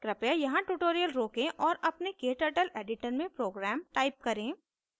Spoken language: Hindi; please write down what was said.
कृपया यहाँ tutorial रोकें और अपने kturtle editor में program type करें